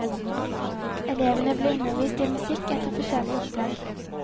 Elevene blir undervist i musikk, etter forskjellige opplegg.